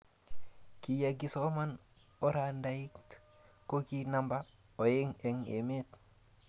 Kiyekisoma oradait ko ki namba oeng eng emet.